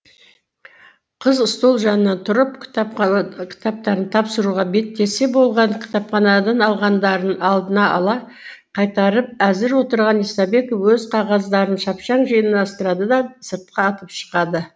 қыз стол жанынан тұрып кітаптарын тапсыруға беттесе болғаны кітапханадан алғандарын алдын ала қайтарып әзір отырған исабеков өз қағаздарын шапшаң жинастырады да сыртқа атып шығады